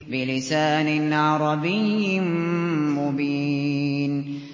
بِلِسَانٍ عَرَبِيٍّ مُّبِينٍ